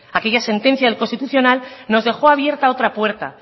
aquella sentencia del constitucional nos dejó abierta otra puerta